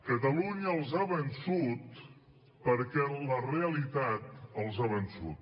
catalunya els ha vençut perquè la realitat els ha vençut